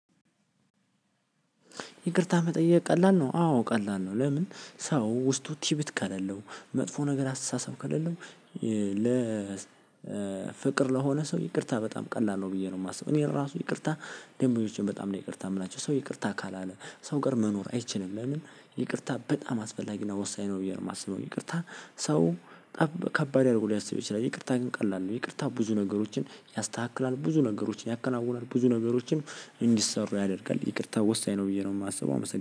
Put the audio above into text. ይቅርታ መጠየቅ ቀላል ነው አዎ ቀላል ነው። ለምን ሰው ውስጡ ቲቢት ከሌለው መጥፎ ነገር አስተሳሰብ ከሌለው። ለ ፍቅር ለሆነ ሰው ይቅርታ በጣም ቀላል ነው። ብዬ ነው የማስበው እኔ ለራሱ ይቅርታ ደንበኞችን በጣም ነው ይቅርታ የምላቸው ሰው ይቅርታ ካላለ ሰው ጋር መኖር አይችልም። ለምን? ይቅርታ በጣም አስፈላጊ እና ወሳኝ ነው ብየ የማስበው። እኔ ይቅርታ ሰው ጠብ ከባድ አድርጎ ሊያስበው ይችላል። ይቅርታ ግን ቀላል ነው። ይቅርታ ብዙ ነገሮችን ያስተካክላል ብዙ ነገሮችን ያከናውናል ብዙ ነገሮችን እንዲሰሩ ያደርጋል። ይቅርታ ወሳኝ ነው ብዬ ነው የማስበው። አመስግና